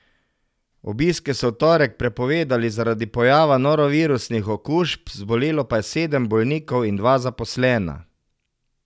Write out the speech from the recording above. Obiske so v torek prepovedali zaradi pojava norovirusnih okužb, zbolelo pa je sedem bolnikov in dva zaposlena.